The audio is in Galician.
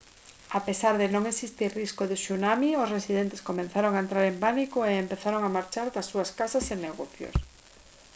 a pesar de non existir risco de tsunami os residentes comezaron a entrar en pánico e empezaron a marchar das súas casas e negocios